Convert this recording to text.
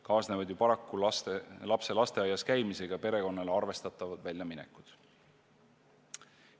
Kaasnevad ju paraku lapse lasteaias käimisega perekonnale arvestatavad väljaminekud.